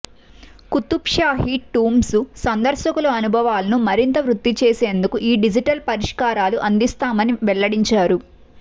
Qutb Shahi tombs సందర్శకుల అనుభవాలను మరింత వృద్ధిచేసేందుకు ఈ డిజిటల్ పరిష్కారా లు అందిస్తామని వెల్లడించారు